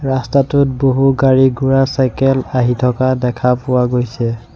ৰাস্তাটোত বহু গাড়ী ঘোঁৰা চাইকেল আহি থকা দেখা পোৱা গৈছে।